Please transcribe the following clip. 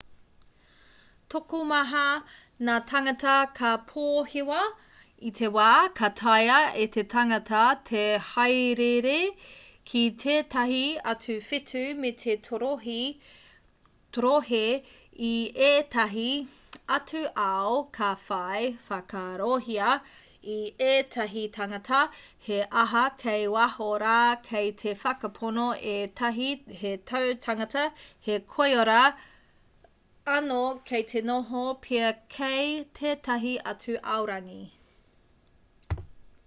tokomaha ngā tāngata ka pōhewa i te wā ka taea e te tangata te hāereere ki tētahi atu whetū me te torohē i ētahi atu ao ka whai whakaarohia e ētahi tāngata he aha kei waho rā kei te whakapono ētahi he tautangata he koiora anō kei te noho pea kei tētahi atu aorangi